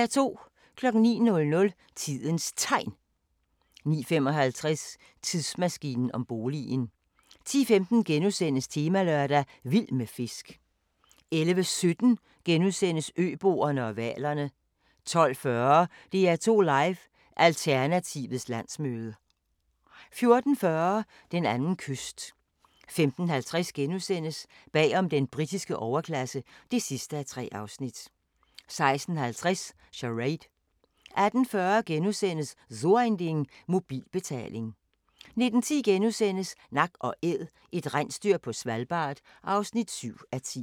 09:00: Tidens Tegn 09:55: Tidsmaskinen om boligen 10:15: Temalørdag: Vild med fisk * 11:17: Øboerne og hvalerne * 12:40: DR2 Live: Alternativets Landsmøde 14:40: Den anden kyst 15:50: Bag om den britiske overklasse (3:3)* 16:50: Charade 18:40: So ein Ding - mobilbetaling * 19:10: Nak & Æd – et rensdyr på Svalbard (7:10)*